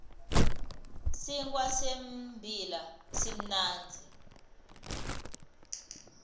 sinkhwa sembila simnandzi